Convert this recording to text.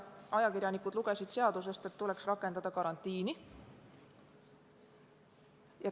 Ajakirjanikud lugesid seadusest, et tuleks rakendada karantiini.